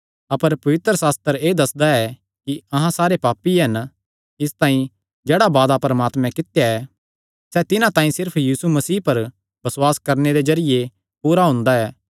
अपर पवित्रशास्त्र एह़ दस्सदा ऐ कि अहां सारे पापी हन इसतांई जेह्ड़ा वादा परमात्मैं कित्या ऐ सैह़ तिन्हां तांई सिर्फ यीशु मसीह पर बसुआस करणे दे जरिये पूरा हुंदा ऐ